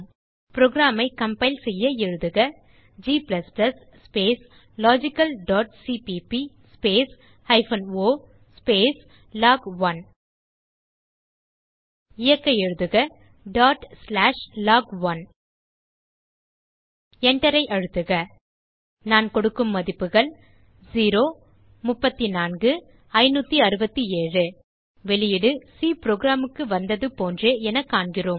program ஐ compile செய்ய எழுதுக g logicalசிபிபி o லாக்1 இயக்க எழுதுக log1 Enter ஐ அழுத்துக நான் கொடுக்கும் மதிப்புகள் வெளியீடு சி programக்கு வந்தது போன்றே என காண்கிறோம்